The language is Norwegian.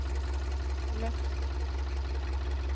løft